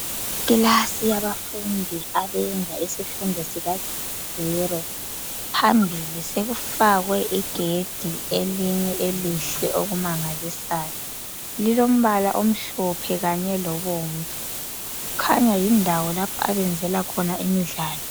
Ikilasi yabafundi abenza isifundo sikazero. Phambili sokufakwe igedi elinye elihle okumangalisayo. Lilombala omhlophe kanye lobomvu. Kukhanya yindawo lapha abenzela khona imidlalo.